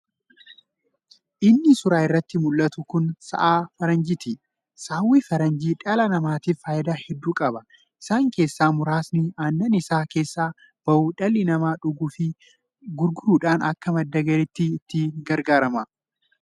Inni suuraa irratti muldhatu kun sa'a faranjiiti. Saawwi faranjii dhala namaatiif faayidaa heddu qaba. Isaan keessaa muraasni aannan isa keessaa ba'u dhalli namaa dhuguu fi gurguruudhaan akka madda galiitti itti gargaarama.